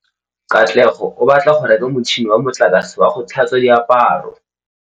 Katlego o batla go reka motšhine wa motlakase wa go tlhatswa diaparo.